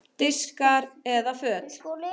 Diskar eða föt?